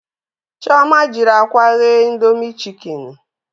Chioma jiri akwa ghee indomie chikeni